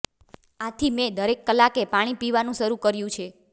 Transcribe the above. આથી મેં દરેક કલાકે પાણી પીવાનું શરૂ કર્યું છે